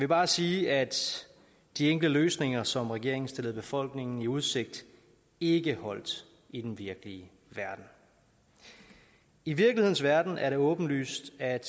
bare sige at de enkle løsninger som regeringen stillede befolkningen i udsigt ikke holdt i den virkelige verden i virkelighedens verden er det åbenlyst at